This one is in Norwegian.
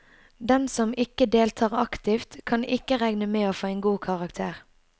Den som ikke deltar aktivt, kan ikke regne med å få en god karakter.